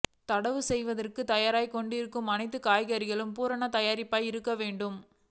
நடவு செய்வதற்கு தயாராகிக் கொண்டிருக்கும் அனைத்து காய்கறிகளும் பூரண தயாரிப்பாக இருக்க வேண்டும்